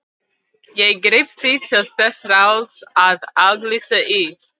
Ég greip því til þess ráðs að auglýsa í